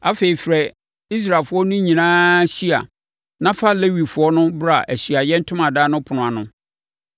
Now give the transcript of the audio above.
Afei, frɛ Israelfoɔ no nyinaa hyia na fa Lewifoɔ no bra Ahyiaeɛ Ntomadan no ɛpono ano.